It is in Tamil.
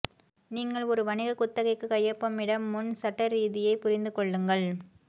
நீங்கள் ஒரு வணிக குத்தகைக்கு கையொப்பமிட முன் சட்டரீஸியை புரிந்து கொள்ளுங்கள்